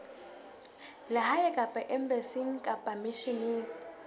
lehae kapa embasing kapa misheneng